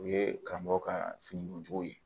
U ye karamɔgɔ ka finikojugu ye